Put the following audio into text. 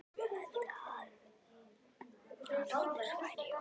Ég hélt að Haraldur væri í hópi